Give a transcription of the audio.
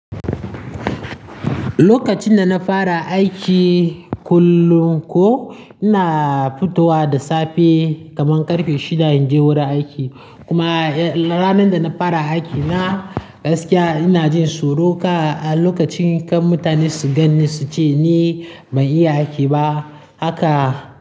Lokacin da na fara aiki kullum ko ina fitowa da safe kaman ƙarfe shida in je wurin aiki. Kuma ranar da na fara aiki na gaskiya ina jin suruka a lokacin kan mutane su gani su ce ni ban iya aiki ba. Haka.